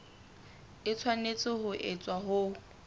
e tshwanetse ho etswa ho